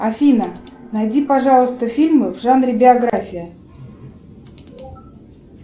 афина найди пожалуйста фильмы в жанре биография